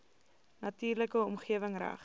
natuurlike omgewing reg